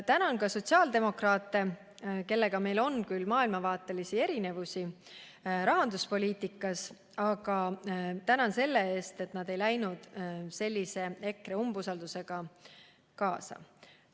Tänan sotsiaaldemokraate, kellega meil on küll maailmavaatelisi erinevusi rahanduspoliitikas, aga tänan selle eest, et nad ei läinud sellise EKRE umbusaldusega kaasa.